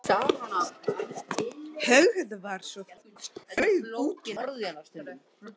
Höggið var svo þungt að Thomas flaug út í vegg.